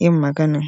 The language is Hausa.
yin magana.